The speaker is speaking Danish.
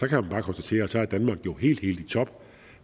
kan man bare konstatere at så er danmark jo helt helt i top